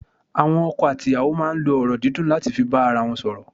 Àwọn ọkọ àti ìyàwó máa n lo ọ̀rọ̀ dídùn láti fi bá ara won sòrò